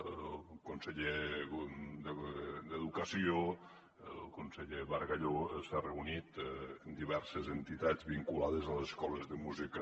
el conseller d’educació el conseller bargalló s’ha reunit amb diverses entitats vinculades a les escoles de música